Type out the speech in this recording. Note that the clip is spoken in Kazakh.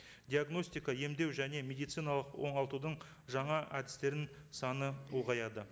диагностика емдеу және медициналық оңалтудың жаңа әдістерінің саны ұлғаяды